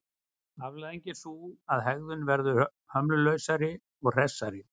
Afleiðingin er sú að hegðun verður hömlulausari og hressari.